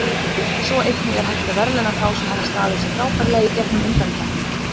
Svo einnig er hægt að verðlauna þá sem hafa staðið sig frábærlega í gegnum undankeppnina.